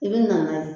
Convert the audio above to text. I bi na n'a ye